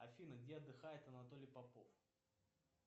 афина где отдыхает анатолий попов